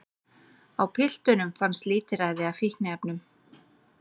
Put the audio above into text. Á piltunum fannst lítilræði af fíkniefnum